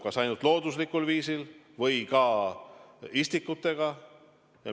Kas ainult looduslikul viisil või ka istikutega?